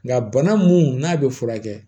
Nka bana mun n'a bɛ furakɛ